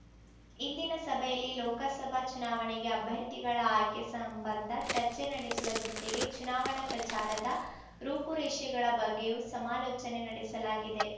ಇಂದಿನ ಸಭೆಯಲ್ಲಿ ಲೋಕಸಭಾ ಚುನಾವಣೆಗೆ ಅಭ್ಯರ್ಥಿಗಳ ಆಯ್ಕೆ ಸಂಬಂಧ ಚರ್ಚೆ ನಡೆಸುವ ಜತೆಗೆ ಚುನಾವಣಾ ಪ್ರಚಾರದ ರೂಪುರೇಷೆಗಳ ಬಗ್ಗೆಯೂ ಸಮಾಲೋಚನೆ ನಡೆಸಲಾಗಿದೆ